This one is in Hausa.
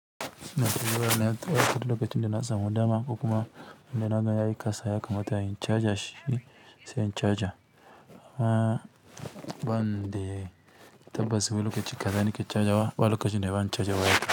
Lokacin da na samu dama ko kuma inda na ga yayi ƙasa ya kamata in charger shi, sai in charger. A ba ni dai tabbas bu lokacin gaza nike charger wa, ba lokacin da zan charger wayata.